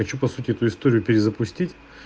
хочу по сути эту историю перезапустить